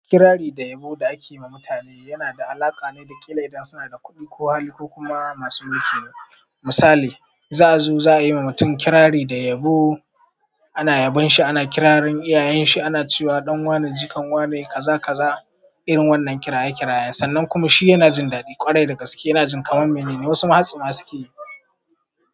Kirari da yabo da ake ma mutane yana da alaƙa ne da ƙila idan suna da kuɗi ko hali ko kuma masu mulki ne. Misali za zu za a yi ma mutum kirari da yabo. Ana yabon shi, ana kirarin iyayen shi, ana cewa ɗan wanen jikan wane kaza kaza. Irin wannan kiraye kiraye. Sannan kuma shi yana jin daɗi ƙwarai da gaske yana jin kamar mene ne wasu ma har tsima suke yi.